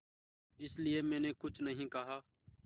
इसलिए मैंने कुछ नहीं कहा